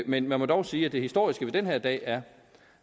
men man må dog sige at det historiske ved den her dag er